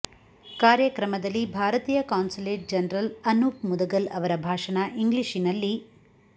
ಕಾರ್ಯಕ್ರಮದಲ್ಲಿ ಭಾರತೀಯ consulate general Anoop Mudgal ಅವರ ಭಾಷಣ ಇಂಗ್ಲಿಷಿನಲ್ಲಿ